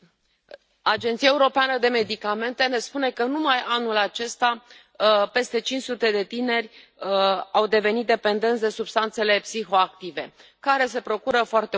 Agenția Europeană pentru Medicamente ne spune că, numai anul acesta, peste cinci sute de tineri au devenit dependenți de substanțele psihoactive, care se procură foarte ușor.